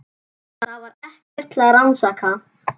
Það var ekkert til að rannsaka.